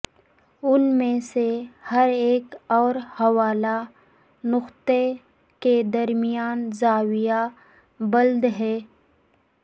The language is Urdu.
ان میں سے ہر ایک اور حوالہ نقطہ کے درمیان زاویہ بلد ہے